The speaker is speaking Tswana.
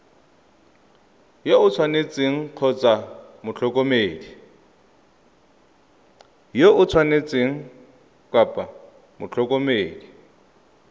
yo o tshwanetseng kgotsa motlhokomedi